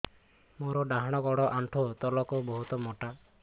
ମୋର ଡାହାଣ ଗୋଡ ଆଣ୍ଠୁ ତଳୁକୁ ବହୁତ ମୋଟା